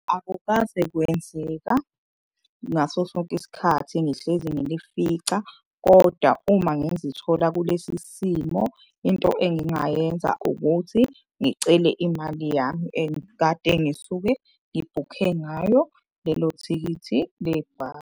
Akukaze kwenzeka ngaso sonke isikhathi ngihlezi ngilifica. Koda uma ngizithola kulesi simo into engingayenza ukuthi ngicele imali yami engikade ngisuke ngibhukhe ngayo lelo thikithi .